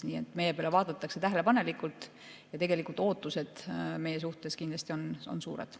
Nii et meie peale vaadatakse tähelepanelikult ja ootused meie suhtes on kindlasti suured.